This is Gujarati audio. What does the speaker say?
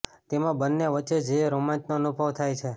તેમાં બંને વચ્ચે જે રોમાંચનો અનુભવ થાય છે